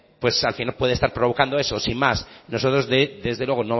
pues al final puede estar provocando eso sin más nosotros desde luego